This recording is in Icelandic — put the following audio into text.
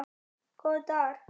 Góðir dagar.